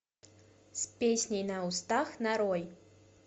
с песней на устах нарой